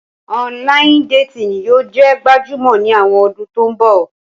Ọnlayin-detini yóò jẹ gbajumo ni awọn ọdun to nbo.